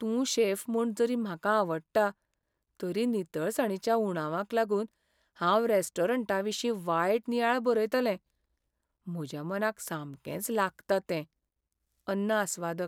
तूं शेफ म्हूण जरी म्हाकाआवडटा, तरी नितळसाणीच्या उणावाक लागून हांव रेस्टॉरंटाविशीं वायट नियाळ बरयतलें. म्हज्या मनाक सामकेंच लागता तें. अन्न आस्वादक